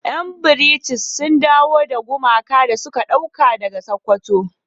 Yan "British " sun dawo da gumakan da suka dauka daga sokoto.